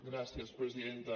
gràcies presidenta